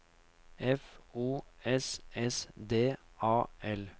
F O S S D A L